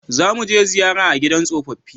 Za mu je ziyara gidan tsofaffi